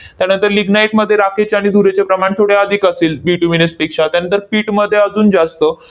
त्यानंतर lignite मध्ये राखेचे आणि धुरेचे प्रमाण थोडे अधिक असेल bituminous पेक्षा. त्यानंतर pit मध्ये अजून जास्त.